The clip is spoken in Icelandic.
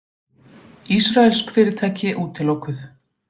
Ísraelsk fyrirtæki útilokuð